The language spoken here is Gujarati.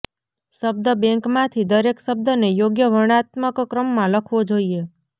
શબ્દ બૅન્કમાંથી દરેક શબ્દને યોગ્ય વર્ણનાત્મક ક્રમમાં લખવો જોઈએ